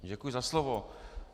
Děkuji za slovo.